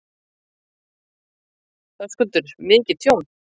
Höskuldur: Mikið tjón?